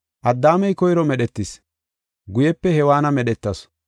Addaamey koyro medhetis; guyepe Hewaanna medhetasu.